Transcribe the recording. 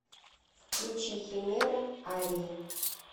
включи химера арии